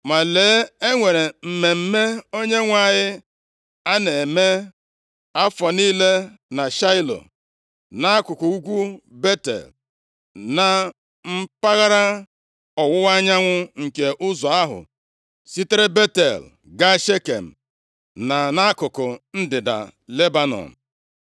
Ma lee, e nwere mmemme Onyenwe anyị a na-eme afọ niile na Shaịlo, nʼakụkụ ugwu Betel, na mpaghara ọwụwa anyanwụ nke ụzọ ahụ sitere Betel gaa Shekem, na nʼakụkụ ndịda Lebona.”